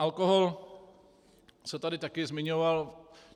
Alkohol se tady taky zmiňoval.